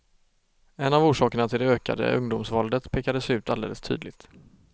En av orsakerna till det ökade ungdomsvåldet pekades ut alldeles tydligt.